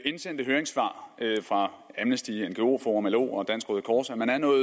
indsendte høringssvar fra amnesty ngo forum lo og dansk røde kors at man er noget